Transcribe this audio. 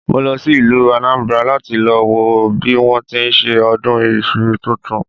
Mo lọ sí ìlú Anambra láti lọ wo bí wọ́n ti ń ṣe ọdún iṣu tuntun